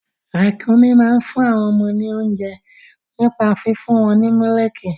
Ràkúnmí máa ń fún àwọn ọmọ wọn lóunjẹ nípa fífún wọn ní mílìkì.